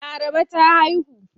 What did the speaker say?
Laraba ta haihu.